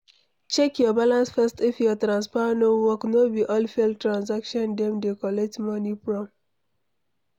Check your balance first if your transfer no work no be all failed transaction dem de collect moni from